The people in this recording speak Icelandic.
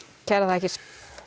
kærar þakkir